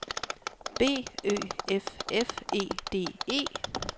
B Ø F F E D E